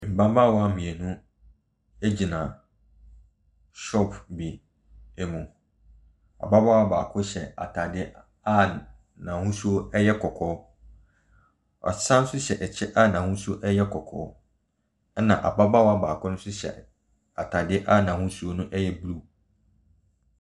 Mmabaawa mmienu gyina shop bi mu. Ababaawa baako hyɛ atadeɛ a n'ahosuo yɛ kɔkɔɔ. Wasan nso hyɛ kyɛ a n'ahosuo yɛ kɔkɔɔ, ɛnna ababaawa nso hyɛ atadeɛ a n'ahosoɔ no yɛ blue.